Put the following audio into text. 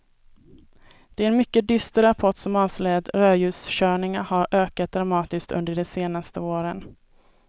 Det är en mycket dyster rapport som avslöjar att rödljuskörningarna har ökat dramatiskt under de senaste åren.